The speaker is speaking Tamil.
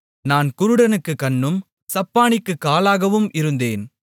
நான் குருடனுக்குக் கண்ணும் சப்பாணிக்குக் காலாகவும் இருந்தேன்